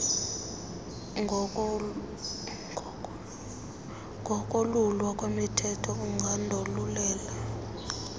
ngokolulwa ungasuka undolulele